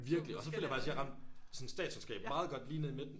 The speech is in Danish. Virkelig og så føler jeg faktisk jeg har ramt sådan statskunskab meget godt lige ned i midten